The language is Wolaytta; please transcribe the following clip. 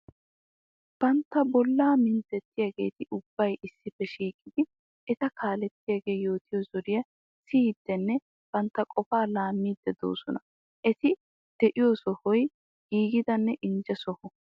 Bantta bolla minttetiyaagetti ubbay issippe shiiqiddi etta kaaletiyaage yootiyo zoriya siyiddenne bantta qofa laamide de'osonna. Etti de'iyo sohoy giigidanne injje soho.